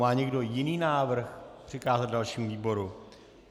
Má někdo jiný návrh přikázat dalšímu výboru?